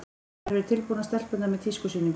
Þær eru tilbúnar, stelpurnar, með tískusýninguna.